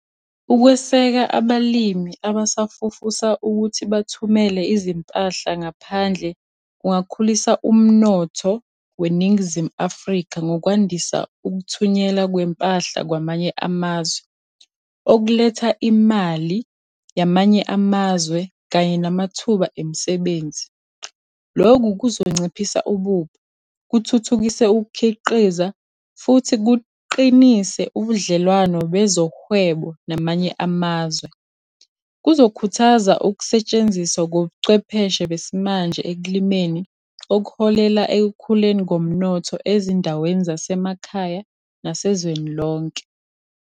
Ukweseka abalimi abasafufusa ukuthi bathumele izimpahla ngaphandle, kungakhulisa umnotho weNingizimu Afrika ngokwandisa ukuthunyelwa kwempahla kwamanye amazwe. Okuletha imali yamanye amazwe kanye namathuba emisebenzi. Lokhu kuzonciphisa ububha, kuthuthukise ukukhiqiza, futhi kuqinise ubudlelwano bezohwebo namanye amazwe. Kuzokhuthaza ukusetshenziswa kobuchwepheshe besimanje ekulimeni, okuholela ekukhuleni komnotho ezindaweni zasemakhaya nasezweni lonke.